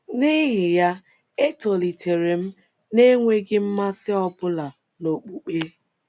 N’ihi ya, etolitere m n’enweghị mmasị ọ bụla n’okpukpe.